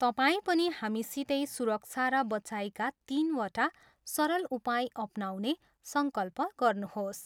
तपाईँ पनि हामीसितै सुरक्षा र बचाइका तिनवटा सरल उपाय अपनाउने सङ्कल्प गर्नुहोस।